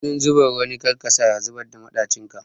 Ganin zumar wani kar yasa ka zubar da maɗacin ka.